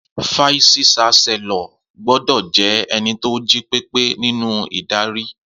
Fàísí ṣàsẹló gbòdọ jẹ̀ ẹní tó jípẹpẹ ninu Ìdárì.